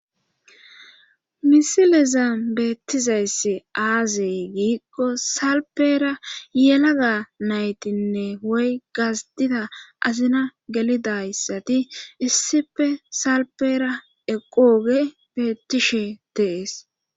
misileza beettizayssi aazey giigko salpera yelaga naytinne woy gazdida azina gelidayssati issife salpera eqqooge beettishe dees